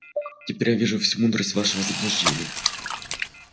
теперь я вижу всю мудрость вашего заблуждения